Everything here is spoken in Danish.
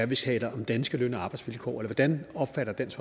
vi taler om danske løn og arbejdsvilkår eller hvordan opfatter dansk